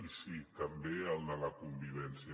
i sí també el de la convivència